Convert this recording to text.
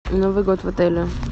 новый год в отеле